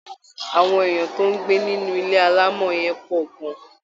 Àwọn èèyàn tó ń gbé nínú ilé alámọ̀ yẹn pọ̀ gan